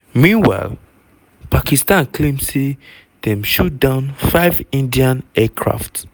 meanwhile pakistan claim say dem shoot down five indian aircraft.